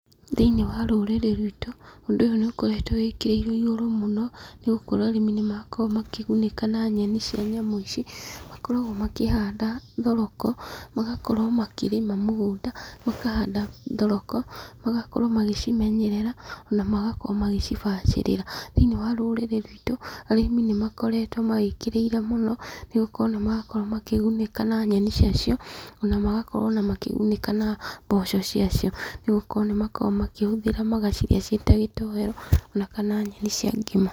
Thĩiniĩ wa rũrĩrĩ rwitũ, ũndũ ũyũ nĩ ũkoretwo wĩkĩrĩirwo igũrũ mũno, nĩ gũkorwo arĩmi nĩ makoragwo makĩgunĩka na nyeni cia nyamũ ici, makoragwo makĩhanda thoroko, magakorwo makĩrĩma mũgũnda, makahanda thoroko, magakorwo magĩcimenyerera, ona magakorwo magĩcibacirĩra, thĩinuĩ wa rũrĩrĩ rwitũ, arĩmĩ nĩ makoretwo mawĩkĩrĩire mũno, nĩ gũkorwo nĩ marakorwo makĩgunĩka na yeni cia cio, ona magakorwo makĩgunĩka na mboco cia cio, nĩgũkorwo nĩ makoragwo makĩhũthĩra magacirĩa ciĩ ta gĩtoero, ona kana nyeni cia ngima.